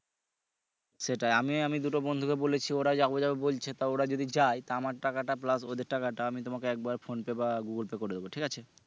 সেটাই আমি আমি দুট বন্ধুকে বলেছি ওরা যাবে যাবে বলছে তা ওরা যদি যায় তা আমার টা plus ওদের টাকা টা আমি তোমাকে একবারে Phonepe বা Google Pay করে দিবো ঠিক আছে